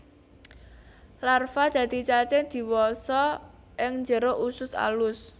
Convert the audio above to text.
Larva dadi cacing diwasa ing jero usus alus